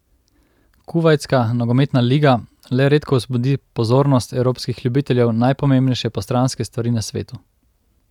Kuvajtska nogometna liga le redko vzbudi pozornost evropskih ljubiteljev najpomembnejše postranske stvari na svetu.